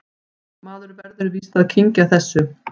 Maður verður víst að kyngja þessu